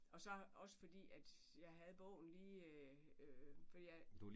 Og så også fordi at jeg havde bogen lige fordi at